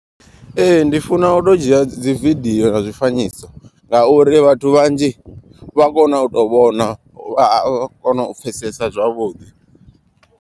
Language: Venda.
Ee ndi funa u to dzhia dzi vidiyo na zwifanyiso. Ngauri vhathu vhanzhi vha kono u to vhona vha a kona u pfesesa zwavhuḓi.